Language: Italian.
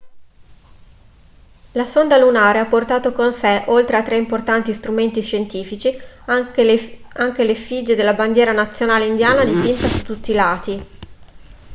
la sonda lunare ha portato con sé oltre a tre importanti strumenti scientifici anche l'effigie della bandiera nazionale indiana dipinta su tutti i lati